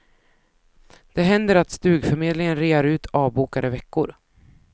Det händer att stugförmedlingen rear ut avbokade veckor.